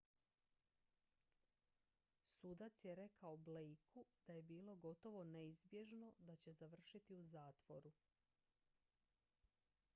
"sudac je rekao blakeu da je bilo "gotovo neizbježno" da će završiti u zatvoru.